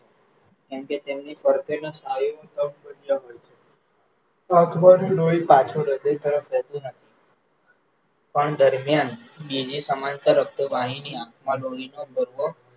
કેમકે તેમની ફરતેના સ્નાયુનો થી લોહી પાછું હૃદય તરફ જતું નથી, પણ દરમ્યાન બીજી સમાંતર રક્તવાહિની આંખમાં લોહીનો કોઠો